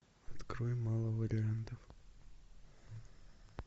открой мало вариантов